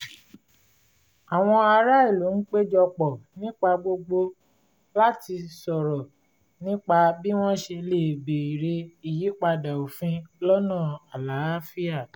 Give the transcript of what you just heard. àwọn ará ìlú ń péjọ pọ̀ nígbà gbogbo láti sọ̀rọ̀ nípa bí wọ́n ṣe lè béèrè ìyípadà òfin lọ́nà àlàáfíà